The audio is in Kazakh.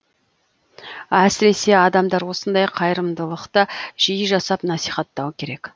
әсіресе адамдар осындай қайырымдылықты жиі жасап насихаттауы керек